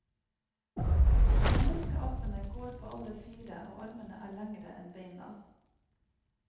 Menneskeapene går på alle fire, og armene er lengre enn beina.